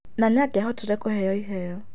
Na nĩangiahotire kũheo iheo.